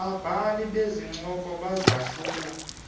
babhali bezincoko bazahlula